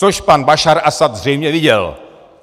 Což pan Bašár Asad zřejmě viděl.